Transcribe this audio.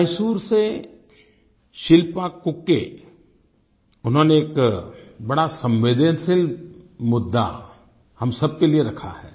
मैसूर से शिल्पा कूके उन्होंने एक बड़ा संवेदनशील मुद्दा हम सब के लिए रखा है